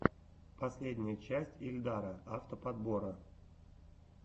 последняя часть ильдара авто подбора